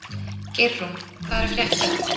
Geirrún, hvað er að frétta?